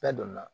Bɛɛ donna